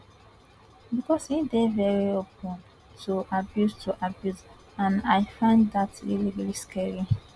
becos e dey veri open to abuse to abuse and i find dat really really scary